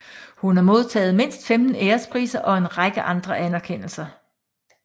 Hun har modtaget mindst 15 ærespriser og en række andre anerkendelser